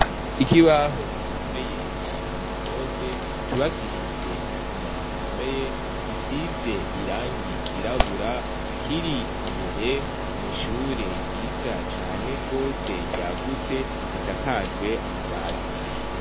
Ikibaho cubakishijwe impome zikomeye cubakishijwe nisima ikomeye gisinze irangi ryirabura kiri imbere mwishure ryiza cane gose ryagutse risakajwe amabati